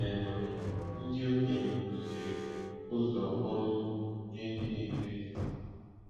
N'Ebonyi, ndị okenye kuziri ụzọ ọrụ ugbo nye ndị na-eto eto.